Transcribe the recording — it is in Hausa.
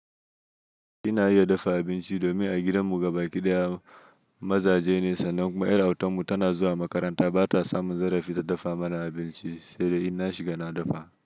Ina iya dafa abinci domin a gidan mu gabaki ɗaya mazaje ne sanan kuma yar autan mu tana zuwa makaranta bata samu zarafi ta dafa mana abinci sai in na shiga na dafa.